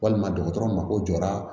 Walima dɔgɔtɔrɔ mako jɔra